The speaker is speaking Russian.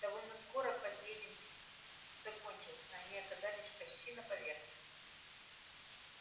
довольно скоро подъедем закончился они оказались почти на поверхности